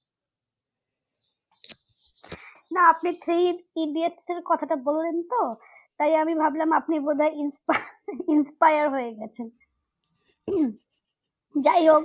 না আপনি three idiots এর কথাটা বললেন তো তাই আমি ভাবলাম আপনি বোধহয় ইন্সপা inspeyar যাইহোক